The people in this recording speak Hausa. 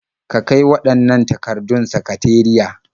Ka kai waɗannan takardun sakateriya.